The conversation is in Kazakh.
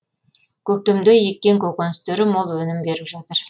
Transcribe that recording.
көктемде еккен көкөністері мол өнім беріп жатыр